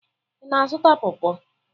Ị na-azụta pọrpọr?